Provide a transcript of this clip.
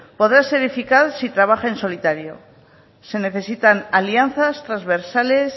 podrá ser eficaz si trabaja en solitario se necesitan alianzas transversales